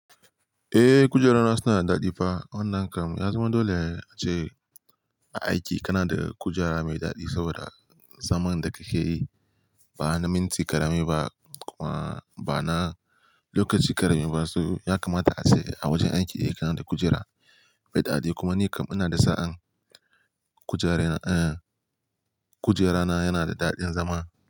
Eh, kujerana suna da daɗi fa. Wannan kam ya zama dole ce a aiki kana da kujera mai daɗi saboda zaman da kake yi ba na minti ƙarami ba kuma ba na lokaci ƙarami ba. So ya kamata a ce a wajen aiki kana da kujera mai daɗi kuma ni kam ina da sa'an kujera, kujerana yana da daɗin zama.